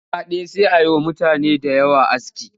Da aska ɗaya sai a yi wa mutane da yawa aski